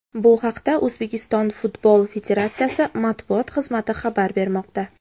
Bu haqda O‘zbekiston Futbol federatsiyasi matbuot xizmati xabar bermoqda .